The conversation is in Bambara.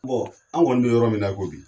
an kɔni bɛ yɔrɔ min na i ko bi.